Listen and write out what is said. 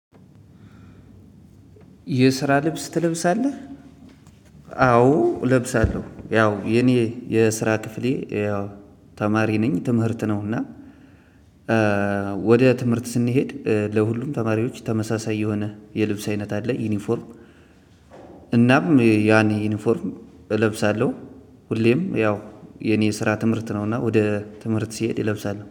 የስራ ልብስ ትለብሳለህ? አዎ እለብሳለሁ ያው የኔ የስራ ክፍሌ ያው ተማሪ ነኝ ትምህርት ነው። እና ወደ ትምህርት ስንሄድ ለሁሉም ተማሪዎች ተመሳሳይ የሆነ የልብስ አይነት አለ ዩኒፎርም። እናም ያኔ ዩኒፎርም እለብሳለሁ። ሁሌም ያው የኔ የስራ ትምህርት ነው እና ወደ ትምህርት ሲሄድ እለብሳለሁ